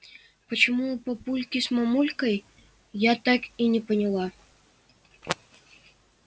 почему у папульки с мамулькой я так и не поняла